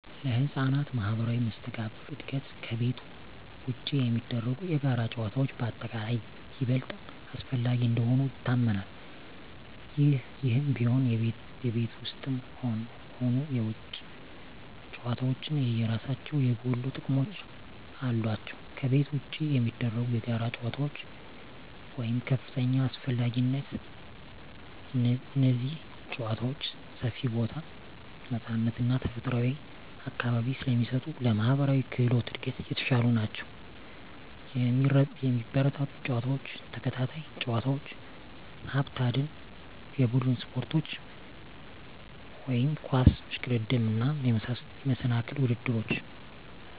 ለሕፃናት ማኅበራዊ መስተጋብር እድገት ከቤት ውጪ የሚደረጉ የጋራ ጨዋታዎች በአጠቃላይ ይበልጥ አስፈላጊ እንደሆኑ ይታመናል። ይህም ቢሆን፣ የቤት ውስጥም ሆኑ የውጪ ጨዋታዎች የየራሳቸው የጎሉ ጥቅሞች አሏቸው። ከቤት ውጪ የሚደረጉ የጋራ ጨዋታዎች (ከፍተኛ አስፈላጊነት) እነዚህ ጨዋታዎች ሰፊ ቦታ፣ ነፃነት እና ተፈጥሯዊ አካባቢ ስለሚሰጡ ለማኅበራዊ ክህሎት እድገት የተሻሉ ናቸው። የሚበረታቱ ጨዋታዎች፦ ተከታታይ ጨዋታዎች፣ ሀብት አደን፣ የቡድን ስፖርቶች (ኳስ፣ እሽቅድድም)፣ እና የመሰናክል ውድድሮች።